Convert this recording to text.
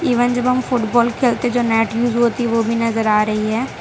Even जब हम football खेलते हैं जो नेट यूज होती है वो भी नजर आ रही है।